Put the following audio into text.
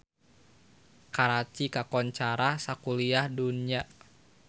Karachi kakoncara sakuliah dunya